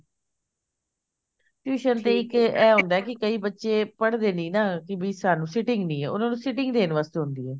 tuition ਤੇ ਇੱਕ ਐ ਹੁੰਦਾ ਕਿ ਕਈ ਬੱਚੇ ਪੜ੍ਹਦੇ ਨੀ ਨਾ ਵੀ ਸਾਨੂੰ sitting ਨੀ ਐ ਉਹਨਾਂ ਨੰ sitting ਦੇਣ ਵਾਸਤੇ ਹੁੰਦੀ ਹੈ